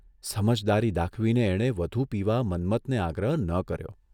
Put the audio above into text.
સમજદારી દાખવીને એણે વધુ પીવા મન્મથને આગ્રહ ન કર્યો.